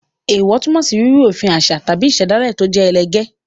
Èèwọ̀ túmọ̀ sí rírú òfin òfin àṣà tàbí ìṣẹ̀dálẹ̀ tó jẹ́ ẹlẹgẹ́.